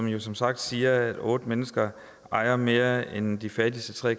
jo som sagt siger at otte mennesker ejer mere end de fattigste tre